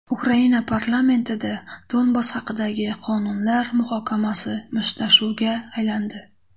Ukraina parlamentida Donbass haqidagi qonunlar muhokamasi mushtlashuvga aylandi .